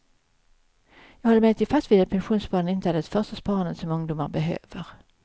Jag håller emellertid fast vid att pensionssparande inte är det första sparandet som ungdomar behöver.